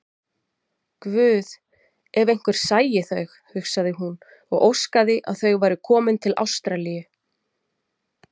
Guð, ef einhver sæi þau, hugsaði hún og óskaði að þau væru komin til Ástralíu.